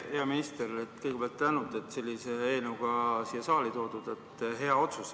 Hea minister, kõigepealt palju tänu, et selline eelnõu on siia saali toodud – hea otsus.